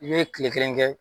I bɛ tile kelen kɛ